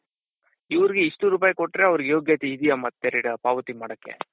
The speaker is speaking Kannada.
ಇವರ್ಗೆ ಇಷ್ಟು ರೂಪಾಯಿ ಕೊಟ್ರೆ ಅವರ್ಗೆ ಯೋಗ್ಯತೆ ಇದ್ದೀಯ ಮತ್ತೆ ಪಾವತಿ ಮಾಡಕೆ.